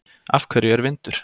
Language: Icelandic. Af hverju er vindur?